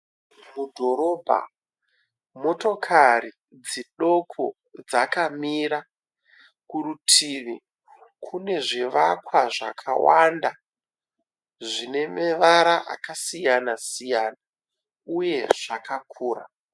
Mudhorobha, motokari dzidoko dzakamira. Kurutivi kune zvivakwa zvakawanda zvine mevara akasiyanasiyana uye zvakakura.